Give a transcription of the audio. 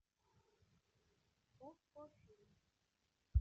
окко фильм